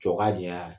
Jɔ ka janya